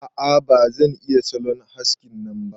A'a ba zan iya salon haskin nan ba.